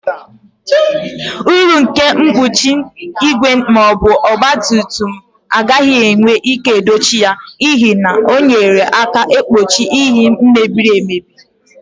Uru nke mkpuchi igwe ma ọ bụ ọgba tum tum agaghị enwe ike dochie ya, n'ihi na ọ na-enyere aka igbochi yinye mebiri emebi.